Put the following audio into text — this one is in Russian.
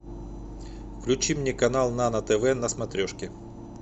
включи мне канал нано тв на смотрешке